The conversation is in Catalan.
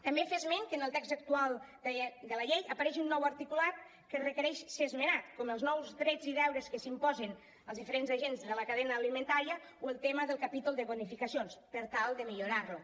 també fer esment que en el text actual de la llei apareix un nou articulat que requereix ser esmenat com els nous drets i deures que s’imposen als diferents agents de la cadena alimentària o el tema del capítol de bonificacions per tal de millorar lo